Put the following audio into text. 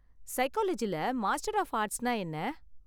சைக்காலஜில master of ஆர்ட்ஸ்னா என்ன?